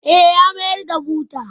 Eh, ya mayar da butar.